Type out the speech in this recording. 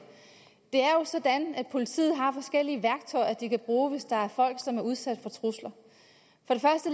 det er sådan at politiet har forskellige værktøjer de kan bruge hvis der er folk som er udsat for trusler